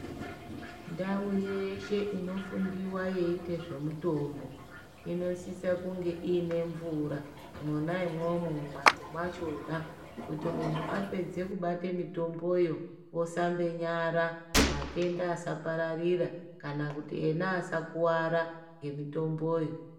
Ndau yeshe inofundiwa yeiite zvemitombo inosisa kunge iine mvura, monaimomo mumhatso mwachona kuti muntu apedze kubate mitomboyo osambe nyara matenda asapararira kana kuti ena asakuwara ngemitomboyo.